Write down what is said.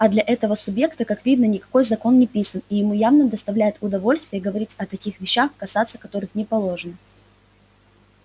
а для этого субъекта как видно никакой закон не писан и ему явно доставляет удовольствие говорить о таких вещах касаться которых не положено